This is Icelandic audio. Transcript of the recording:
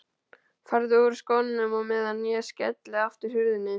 Farðu úr skónum á meðan ég skelli aftur hurðinni.